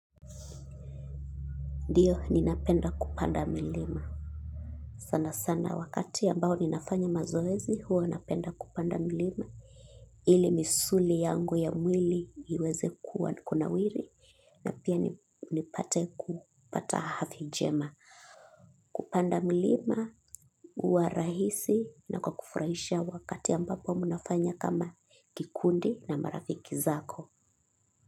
Ndiyo, ninapenda kupanda milima. Sana sana wakati ya mbao ninafanya mazoezi, huwa napenda kupanda milima. Ili misuli yangu ya mwili iweze kunawawili pia nipate kupata afya njema. Kupanda milima uwarahisi na kwakufurahisha wakati mbapo munafanya kama kikundi na marafiki zako.